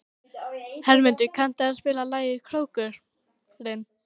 Hermundur, kanntu að spila lagið „Krókurinn“?